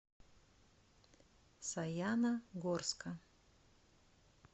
саяногорска